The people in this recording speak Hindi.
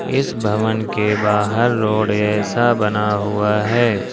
इस भवन के बाहर रोड जैसा बना हुआ है।